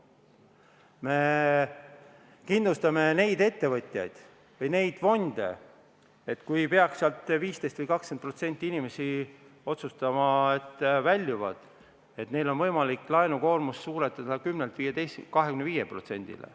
Me kindlustame neid ettevõtjaid või fonde, et kui 15% või 20% inimesi peaks otsustama väljuda, siis neil on võimalik laenukoormust suurendada 10%-lt 25%-le.